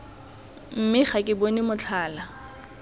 mme ga ke bone motlhala